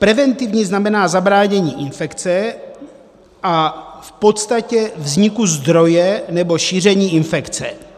Preventivní znamená zabránění infekce a v podstatě vzniku zdroje nebo šíření infekce.